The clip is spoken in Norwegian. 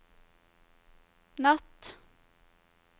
natt